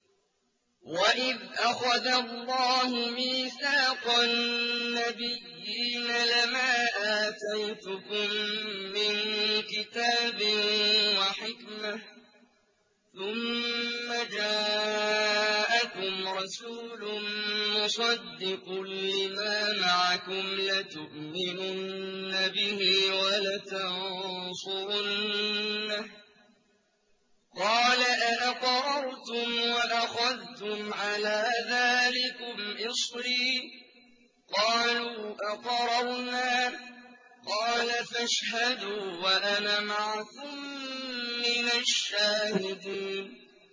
وَإِذْ أَخَذَ اللَّهُ مِيثَاقَ النَّبِيِّينَ لَمَا آتَيْتُكُم مِّن كِتَابٍ وَحِكْمَةٍ ثُمَّ جَاءَكُمْ رَسُولٌ مُّصَدِّقٌ لِّمَا مَعَكُمْ لَتُؤْمِنُنَّ بِهِ وَلَتَنصُرُنَّهُ ۚ قَالَ أَأَقْرَرْتُمْ وَأَخَذْتُمْ عَلَىٰ ذَٰلِكُمْ إِصْرِي ۖ قَالُوا أَقْرَرْنَا ۚ قَالَ فَاشْهَدُوا وَأَنَا مَعَكُم مِّنَ الشَّاهِدِينَ